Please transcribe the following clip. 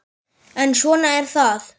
En svona er það.